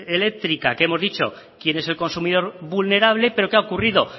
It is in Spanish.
eléctrica que hemos dicho quién es el consumidor vulnerable pero qué ha ocurrido